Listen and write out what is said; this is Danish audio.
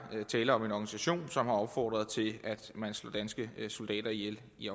tale om en organisation som har opfordret til at man slog danske soldater ihjel i